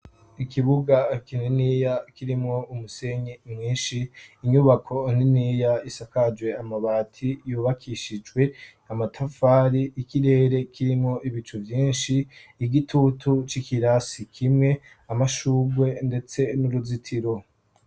Ikibuga kininiya kirimwo umusenyi mwinshi, inyubako niniya isakajwe amabat,i yubakishijwe amatafari ,y'ikirere kirimo ibicu vyinshi, igitutu c'ikirasi kimwe ,amashugwe ndetse n'uruzitiro.